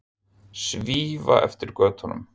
Svífa eftir götunum.